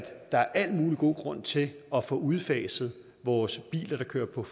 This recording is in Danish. der er al mulig god grund til at få udfaset vores biler der kører på